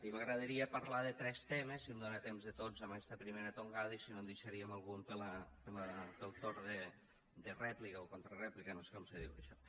i m’agradaria parlar de tres temes si em dóna temps de tots en aquesta primera tongada i si no en deixaríem algun per al torn de rèplica o contrarèplica no sé com se diu això